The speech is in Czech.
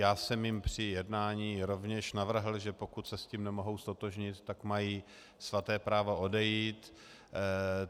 Já jsem jim při jednání rovněž navrhl, že pokud se s tím nemohou ztotožnit, tak mají svaté právo odejít.